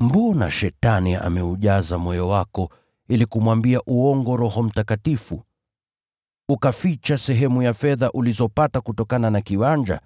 mbona Shetani ameujaza moyo wako ili kumwambia uongo Roho Mtakatifu, ukaficha sehemu ya fedha ulizopata kutokana na kiwanja?